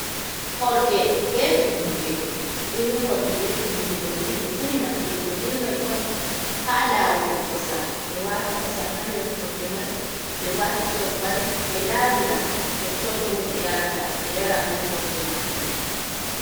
Horde be tummude, irin horde be tummude doni, ɓe ɓuri nafturgo be mai on haa lawugo kosam ɓe wa'a ta shobbal hander horde mai ɓe wata ɓe laawira totton bo ɓe yarata ɓe yara be horde majum.